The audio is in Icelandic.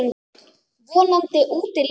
Vonandi úti líka.